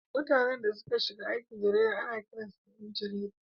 Mutanen da suka shiga aikin jarida ana kiransu ’yan jarida.